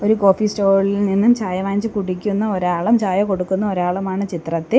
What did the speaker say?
ഒരു കോഫി സ്റ്റോളിൽ നിന്നും ചായ വാങ്ങിച്ചു കുടിക്കുന്ന ഒരാളും ചായ കൊടുക്കുന്ന ഒരാളും ആണ് ചിത്രത്തിൽ.